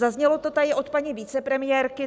Zaznělo to tady od paní vicepremiérky.